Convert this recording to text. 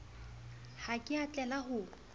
ha ke a tlela ho